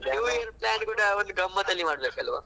new year plan ಕೂಡ ಗಮ್ಮತ್ತಲ್ಲಿ ಮಾಡ್ಬೇಕಲ್ವಾ.